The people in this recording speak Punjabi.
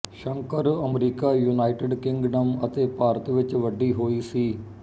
ਸ਼ੰਕਰ ਅਮਰੀਕਾ ਯੂਨਾਈਟਿਡ ਕਿੰਗਡਮ ਅਤੇ ਭਾਰਤ ਵਿੱਚ ਵੱਡੀ ਹੋਈ ਸੀ